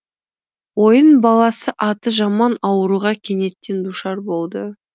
ойын баласы аты жаман ауруға кенеттен душар болды